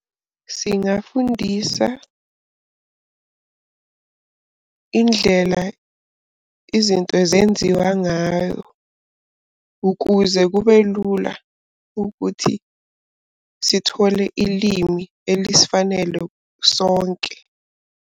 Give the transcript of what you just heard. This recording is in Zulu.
Singafundisa indlela izinto zenziwa ngayo ukuze kube lula ukuthi sithole ilimi elisifanele sonke.